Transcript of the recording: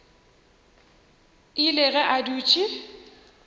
ile ge a dutše a